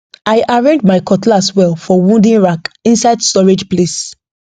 i arrange my cutlass well for wooden rack inside storage place